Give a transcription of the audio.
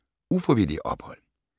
Ufrivillige ophold